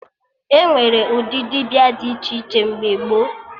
Enwere ụdị dibịa dị iche iche mgbe gboo